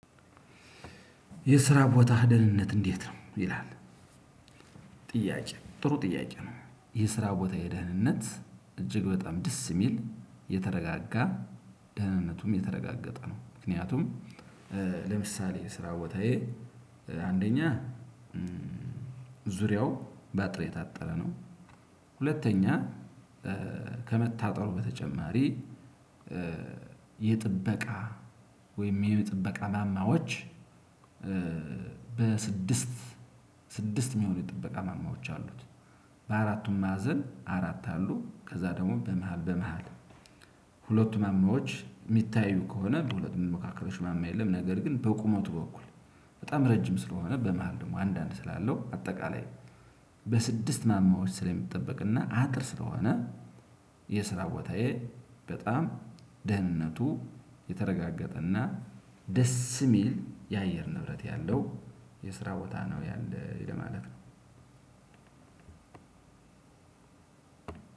የስራ ቦታ ህደልነት እንዴት ነው? ይላል ጥያቄ ጥሩ ጥያቄ ነው። የስራ ቦታ የደህንነት እጅግ በጣም ደስ የሚል የተረጋጋ ደህንነቱም የተረጋገጠ ነው። ምክንያቱም ለምሳሌ ስራ ቦታዬ አንደኛ ዙሪያው በአጥር የታጠረ ነው። ሁለተኛ ከመታጠሩ በተጨማሪ ስድስት የሚሆኑ የጥበቃ ማማዎች አሉት። በአራቱም ማዕዘን አራት አሉ ከዛ ደግሞ በመሃል በመሃል ሁለቱ መምህሮች የሚታዩ ከሆነ በሁለት መካከል ማማ የለም። ነገር ግን በቁመቱ በኩል በጣም ረጅም ስለሆነ በመሃል ደግሞ አንዳንድ ስላለው አጠቃላይ በስድስት ማማዎች ስለሚጠበቅና አጥር ስለሆነ። የስራ ቦታዬ በጣም ደህንነቱ የተረጋገጠ እና ደስ የሚል የአየር ንብረት ያለው የስራ ቦታ ነው ያለው ለማለት ነው።